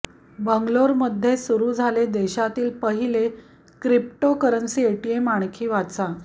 बंगलोर मध्ये सुरु झाले देशातील पहिले क्रीप्टोकरन्सी एटीएम आणखी वाचा